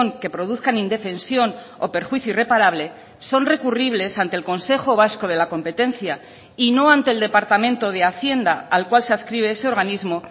que produzcan indefensión o perjuicio irreparable son recurribles ante el consejo vasco de la competencia y no ante el departamento de hacienda al cual se adscribe ese organismo